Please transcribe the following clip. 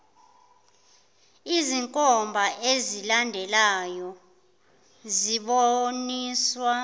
izinkomba ezilandelayo zibonisa